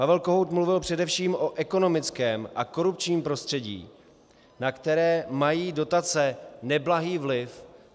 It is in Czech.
Pavel Kohout mluvil především o ekonomickém a korupčním prostředí, na které mají dotace neblahý vliv.